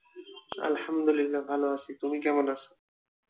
আলহামদুলিল্লাহ ভালো আছি তুমি কেমন আছো?